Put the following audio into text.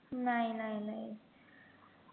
नाही नाही नाही